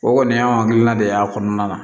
O kɔni y'an hakilina de y'a kɔnɔna na